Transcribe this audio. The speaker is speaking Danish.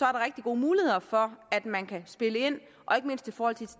rigtig gode muligheder for at man kan spille ind og ikke mindst i forhold til